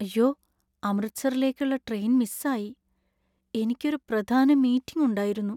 യ്യോ, അമൃത്സറിലേക്കുള്ള ട്രെയിൻ മിസ്സായി. എനിക്ക് ഒരു പ്രധാന മീറ്റിംഗ് ഉണ്ടായിരുന്നു.